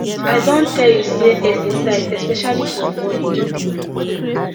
i don tell you say exercise especially for morning no be my thing